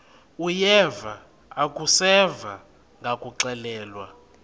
uyeva akuseva ngakuxelelwa